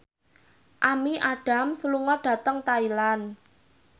Amy Adams lunga dhateng Thailand